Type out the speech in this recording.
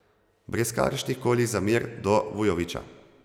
Brez kakršnih koli zamer do Vujovića.